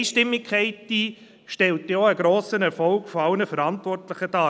Diese Einstimmigkeit stellt auch einen grossen Erfolg aller Verantwortlichen dar.